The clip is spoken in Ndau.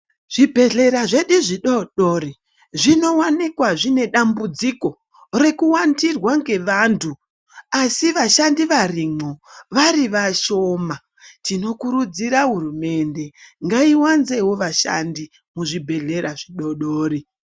Zvibhedhlera zvedu zvidodori zvinowanikwa zvine dambudziko rekuwandirwa nevantu asi vashandi varimo vari vashoma tinokurudzira hurumende ngaiwanzewo vashandi muzvibhedhlera zvidodori.